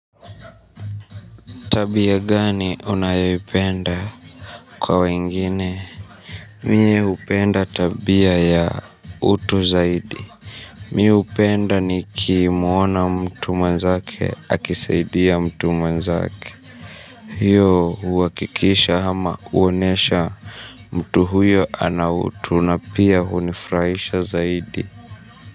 Tabia gani unayoipenda kwa wengine? Mie hupenda tabia ya utu zaidi. Mi hupenda nikimuona mtu mwenzake akisaidia mtu mwenzake. Hio huhakikisha ama huonyesha mtu huyo ana utu na pia hunifurahisha zaidi.